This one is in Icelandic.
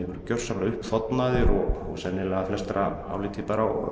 voru gjörsamlega uppþornaðir og sennilega að flestra áliti